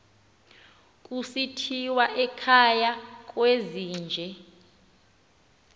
kusithiwa ekhaya kwezinje